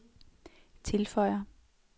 tilføjer